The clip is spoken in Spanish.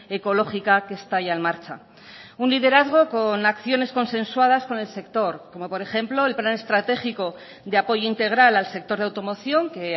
ecológica que está ya en marcha un liderazgo con acciones consensuadas con el sector como por ejemplo el plan estratégico de apoyo integral al sector de automoción que